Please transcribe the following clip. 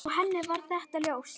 Og henni var þetta ljóst.